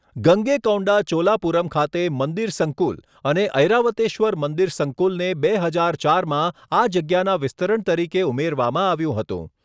ગંગૈકોંડા ચોલાપુરમ ખાતે મંદિર સંકુલ અને ઐરાવતેશ્વર મંદિર સંકુલને બે હજાર ચારમાં આ જગ્યાના વિસ્તરણ તરીકે ઉમેરવામાં આવ્યું હતું.